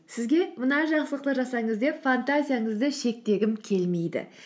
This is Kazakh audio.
сізге мына жақсылықты жасаңыз деп фантазияңызды шектегім келмейді